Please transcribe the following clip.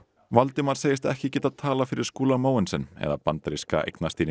Valdimar segist ekki getað talað fyrir Skúla Mogensen eða bandaríska